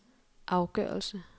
afgørelse